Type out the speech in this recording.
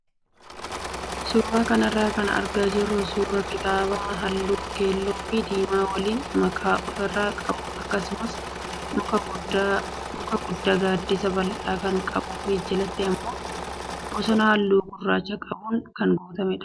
Suuraa kanarraa kan argaa jirru suuraa kitaaba halluu keelloo fi diimaa waliin makaa ofirraa qabuu akkasumas muka guddaa gaaddisa bal'aa kan qabuu fi jalatti immoo bosona halluu gurraacha qabuun kan guutamedha.